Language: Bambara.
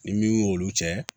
Ni min y' olu cɛ